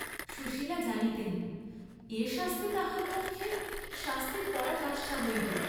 সুশীলা জানিতেন, এ শাস্তি তাহার পক্ষে শাস্তির পরাকাষ্ঠা হইবে।